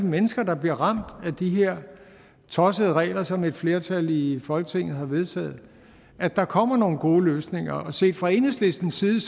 mennesker der bliver ramt af de her tossede regler som et flertal i folketinget har vedtaget at der kommer nogle gode løsninger og set fra enhedslistens side